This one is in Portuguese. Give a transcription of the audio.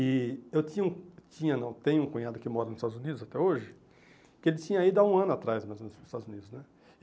E eu tinha um tinha não tenho um cunhado que mora nos Estados Unidos até hoje, que ele tinha ido há um ano atrás mais ou menos para os Estados Unidos, né?